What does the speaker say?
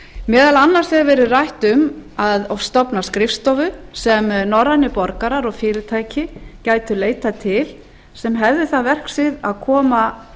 meðal annars hefur verið rætt um að stofna skrifstofu sem norrænir borgarar og fyrirtæki gætu leitað til sem hefðu það verksvið að koma